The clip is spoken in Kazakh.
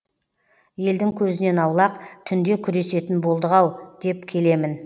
елдің көзінен аулақ түнде күресетін болдық ау деп келемін